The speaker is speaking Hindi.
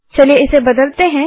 चलिए इसे बदलते हैं